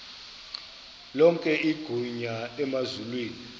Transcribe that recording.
lonke igunya emazulwini